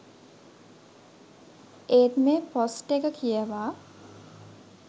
ඒත් මෙ පොස්ට් එක කියවා